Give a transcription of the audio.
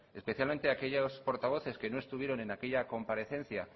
especialmente aquellos portavoces que no estuvieron en aquella comparecencia